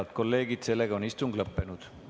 Head kolleegid, istung on lõppenud.